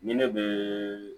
Ni ne bɛ